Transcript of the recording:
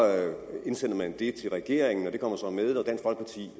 det til regeringen det kommer